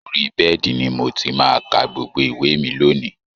Orí bed ni mo ti máa ka gbogbo ìwé mi lónìí